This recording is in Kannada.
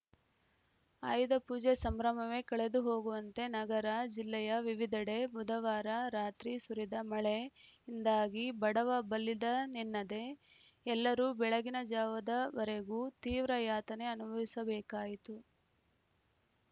ಆಯುಧ ಪೂಜೆ ಸಂಭ್ರಮವೇ ಕಳೆದು ಹೋಗುವಂತೆ ನಗರ ಜಿಲ್ಲೆಯ ವಿವಿಧೆಡೆ ಬುಧವಾರ ರಾತ್ರಿ ಸುರಿದ ಮಳೆಯಿಂದಾಗಿ ಬಡವಬಲ್ಲಿದನೆನ್ನದೇ ಎಲ್ಲರೂ ಬೆಳಗಿನ ಜಾವದವರೆಗೂ ತೀವ್ರ ಯಾತನೆ ಅನುಭವಿಸಬೇಕಾಯಿತು